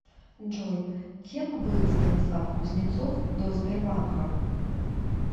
джой кем был станислав кузнецов до сбербанка